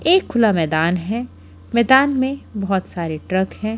एक खुला मैदान है मैदान में बहुत सारे ट्रक हैं।